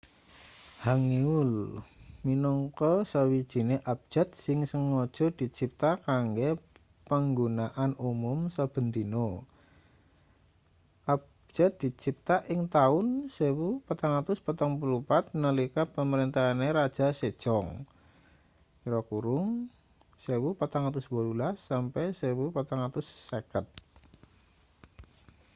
hangeul minangka sawijine abjad sing sengaja dicipta kanggo panggunaan umum saben dina. abjad dicipta ing taun 1444 nalika pamrentahane raja sejong 1418 - 1450